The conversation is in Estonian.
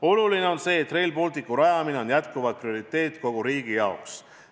Oluline on see, et Rail Balticu rajamine on endiselt prioriteet kogu riigi jaoks.